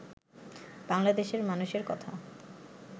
বাংলাদেশের মানুষের কথা